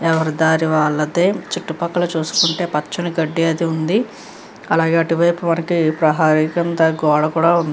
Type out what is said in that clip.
ఎవరి దారి వాళ్లదే చుట్టూ పక్కల చూసుకుంటే పచ్చని గడ్డి అయితే ఉంది అలాగే అటు వైపు వారికి ప్రహరీ కింద గోడ కూడా ఉంది.